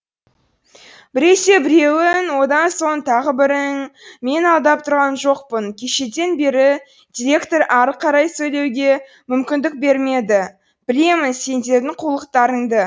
біресе біреуің одан соң тағы бірің мен алдап тұрған жоқпын кешеден бері директор ары қарай сөйлеуге мүмкіндік бермеді білемін сендердің қулықтарыңды